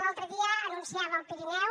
l’altre dia anunciava al pirineu